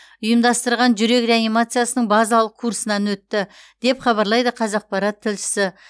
ұйымдастырған жүрек реанимациясының базалық курсынан өтті деп хабарлайды қазақпарат тілшісі